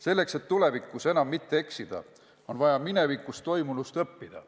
Selleks et tulevikus enam mitte eksida, on vaja minevikus toimunust õppida.